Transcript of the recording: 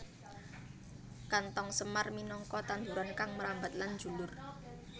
Kanthong semar minangka tanduran kang mrambat lan njulur